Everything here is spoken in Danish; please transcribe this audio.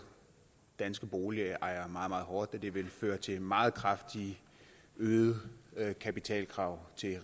danske boligejere meget meget hårdt og det vil føre til meget kraftigt øgede kapitalkrav til